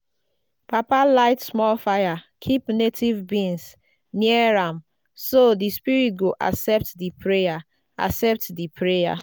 papa light small fire keep native beans near am so the spirits go accept the prayer. accept the prayer.